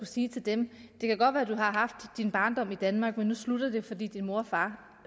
sige til dem det kan godt være du har haft din barndom i danmark men nu slutter det fordi din mor og far